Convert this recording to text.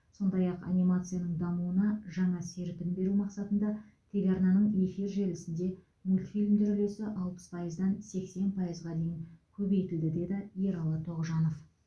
сондай ақ анимацияның дамуына жаңа серпін беру мақсатында телеарнаның эфир желісінде мультфильмдер үлесі алпыс пайыздан сексен пайызға дейін көбейтілді деді ералы тоғжанов